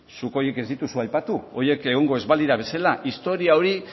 zuk horiek ez ditugu aipatu horiek egongo ez balira bezala historia hori